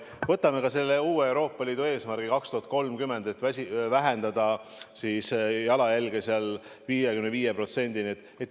Võtame selle uue Euroopa Liidu eesmärgi aastaks 2030: vähendada jalajälge 55%-ni.